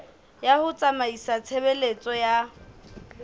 ya ho tsamaisa tshebeletso ya